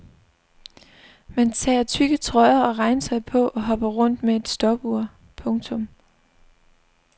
Man tager tykke trøjer og regntøj på og hopper rundt med et stopur. punktum